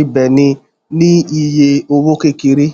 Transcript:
ìbéènì ní iye owó kékeré